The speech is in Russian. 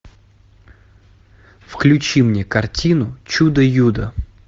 включи мне картину чудо юдо